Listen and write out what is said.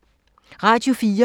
Radio 4